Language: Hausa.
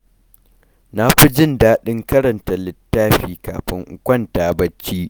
Na fi jin daɗin karanta littafi kafin in kwanta bacci.